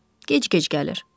Gec-gec gəlir.